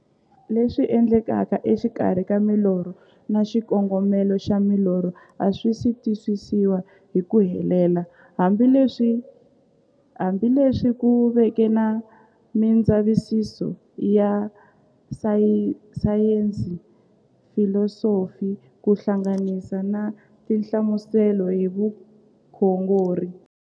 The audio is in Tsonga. Leswi endlekaka e xikarhi ka milorho na xikongomelo xa milorho a swisi twisisiwa hi ku helela, hambi leswi ku veke na mindzavisiso ya sayensi, filosofi ku hlanganisa na tinhlamuselo hi vukhongori.